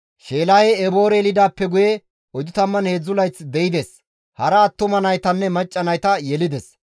Sheelahey Eboore yelidaappe guye 403 layth de7ides; hara attuma naytanne macca nayta yelides.